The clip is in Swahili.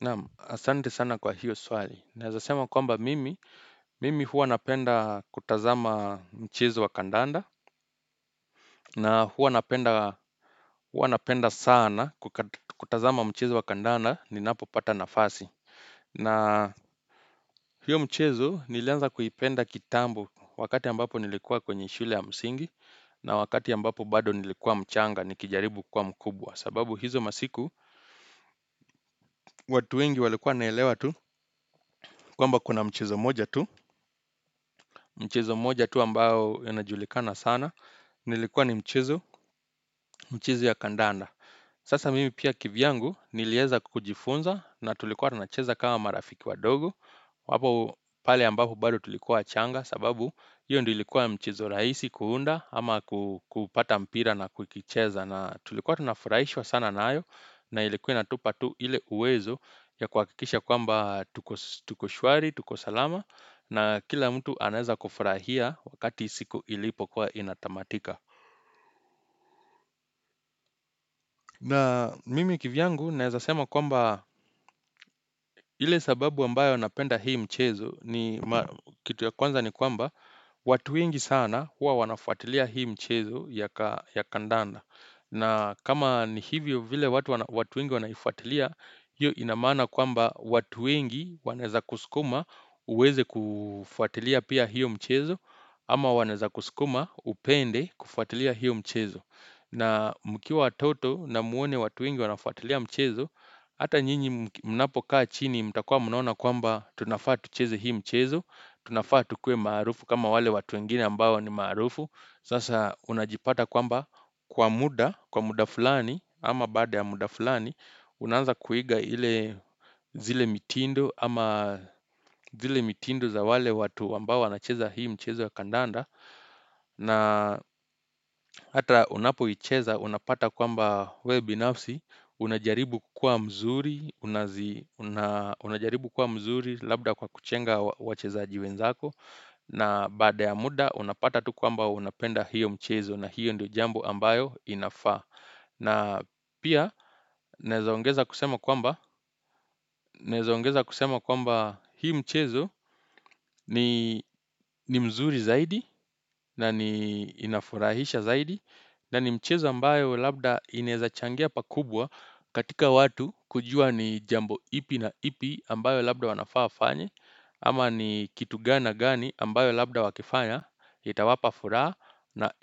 Naamu, asante sana kwa hiyo swali. Naezasema kwamba mimi, mimi huwa napenda kutazama mchezo wa kandanda. Na huwa napenda sana kutazama mchezo wa kandanda ni napo pata nafasi. Na hiyo mchezo nileanza kuhipenda kitambo wakati ambapo nilikuwa kwenye shule ya msingi. Na wakati ambapo bado nilikuwa mchanga ni kijaribu kuwa mkubwa. Sababu hizo masiku, watu wengi walikuwa naelewa tu kwamba kuna mchezo moja tu. Mchezo moja tu ambao yonajulikana sana Nilikuwa ni mchezo ya kandanda Sasa mimi pia kivyangu nilieza kujifunza na tulikuwa tunacheza kama marafiki wadogo apo pali ambapo bado tulikuwa wachanga sababu hiyo ndo ilikuwa mchezo raisi kuunda Ama kupata mpira na kukicheza na tulikuwa tunafuraishwa sana naayo na ilikuwa inatupa tu ile uwezo ya kwakikisha kwamba tuko shwari, tuko salama na kila mtu aneza kufurahia wakati siku ilipo kwa inatamatika na mimi kivyangu aneza sema kwamba ile sababu ambayo napenda hii mchezo Kitu ya kwanza ni kwamba watu wengi sana huwa wanafuatilia hii mchezo ya kandanda na kama ni hivyo vile watu wengi wanaifuatilia hiyo inamana kwamba watu wengi waneza kuskuma uweze kufuatilia pia hiyo mchezo Ama waneza kusikuma upende kufuatilia hiyo mchezo na mkiwa watoto na muone watu wengi wanafuatilia mchezo Hata nyinyi mnapokaa chini mtakua munaona kwamba tunafa tucheze hii mchezo Tunafa tukuwe marufu kama wale watu wengini ambawo ni marufu Sasa unajipata kwamba kwa muda, kwa muda fulani ama bada ya muda fulani unanza kuiga hile zile mitindo ama zile mitindo za wale watu wambao wanacheza hii mchezo ya kandanda na hata unapohicheza unapata kwamba we binafsi unajaribu kuwa mzuri unajaribu kuwa mzuri labda kwa kuchenga wacheza wenzako na bada ya muda unapata tu kwamba unapenda hiyo mchezo na hiyo ndio jambo ambayo inafa na pia naezaongeza kusema kwamba hii mchezo ni mzuri zaidi na ni inafurahisha zaidi na ni mchezo ambayo labda inezachangia pakubwa katika watu kujua ni jambo ipi na ipi ambayo labda wanafaa wafanye Ama ni kitu gana gani ambayo labda wakifanya Itawapa fura na